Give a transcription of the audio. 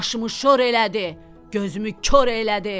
Aşımı şor elədi, gözümü kor elədi.